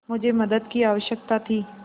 मुझे मदद की आवश्यकता थी